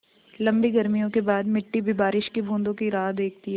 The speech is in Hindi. लम्बी गर्मियों के बाद मिट्टी भी बारिश की बूँदों की राह देखती है